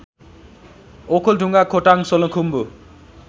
Okhaldhunga Khotang Solukhumbu